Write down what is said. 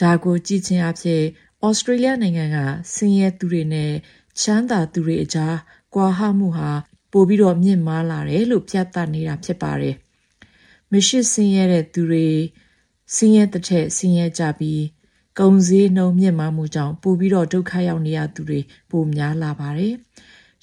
ဒါကို ကြည့်ခြင်းအားဖြင့် ဩစတြေးလျနိုင်ငံက ဆင်းရဲသူတွေနဲ့ ချမ်းသာသူတွေအကြား ကွာဟမှုဟာ ပိုများလာတယ်လို့ ပြသနေတာ ဖြစ်တယ်လို့ ဆိုပါတယ်။ မရှိဆင်းရဲသူတွေ ဆင်းရဲသထက် ဆင်းရဲကြပြီး ကုန်စျေးနှုန်း မြင့်မားမှုကြောင့် ပိုပြီး ဒုက္ခရောက်နေရသူတွေ ပိုများလာပါတယ်။